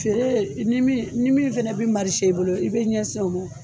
Feere ni min ni min fana bɛ marise i bolo i bɛ ɲɛsin o ma.